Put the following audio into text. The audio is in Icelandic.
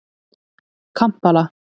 Kampala